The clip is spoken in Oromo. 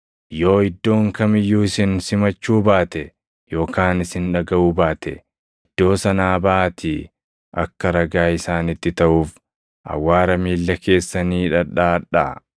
Yoo iddoon kam iyyuu isin simachuu baate yookaan isin dhagaʼuu baate, iddoo sanaa baʼaatii akka ragaa isaanitti taʼuuf awwaara miilla keessanii dhadhaʼadhaa.”